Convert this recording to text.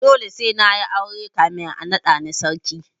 Dole sai na yi aure kafin a naɗa ni sarki.